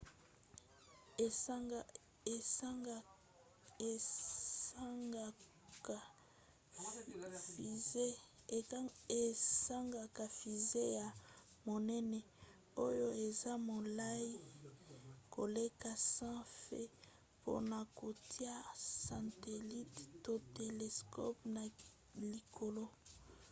esengaka fusée ya monene oyo eza molai koleka 100 feet mpona kotia satelite to telescope na likolo